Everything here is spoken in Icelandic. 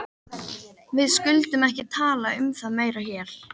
Við skulum ekki tala um það meira hér.